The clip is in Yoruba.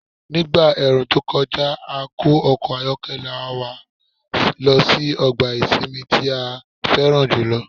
Nígbà ẹ̀ẹ̀rùn tó kọjá, a kó ọkọ̀ ayọ́kẹ́lẹ́ wa a sì lọ sí ọgbà ìsinmi tí a fẹ́ràn jù lọ.